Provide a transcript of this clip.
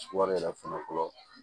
Wari yɛrɛ fɔlɔ fɔlɔ fɔlɔ